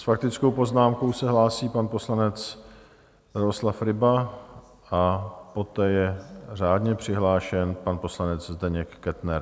S faktickou poznámkou se hlásí pan poslanec Drahoslav Ryba a poté je řádně přihlášen pan poslanec Zdeněk Kettner.